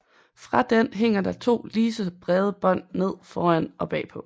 Fra den hænger der to lige så brede bånd ned foran og bagpå